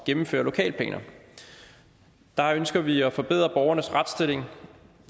gennemføre lokalplaner der ønsker vi at forbedre borgernes retsstilling